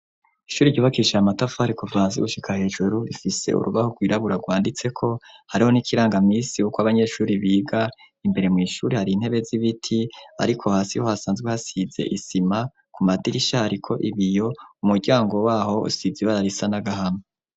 Ishure ryubakishije amatafari kuva hasi gushika hejuru rifise urugi rwirabura ganditseko hariho n'ikirangamisi uko abanyeshure biga imbere mw'ishure hari intebe z'ibiti ariko hasi ho hasanzwe hasize isima ku madirisha hariko ibiyo umuryango waho usize ibara risa nagahama.